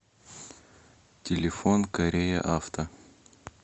телефон корея авто